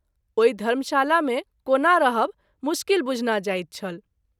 ओहि धर्म शाला मे कोना रहब मुश्किल बुझना जाइत छल।